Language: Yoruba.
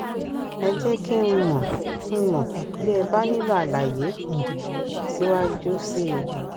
ẹ jé kí n mò n mò bí ẹ bá nílò àlàyé um síwájú sí i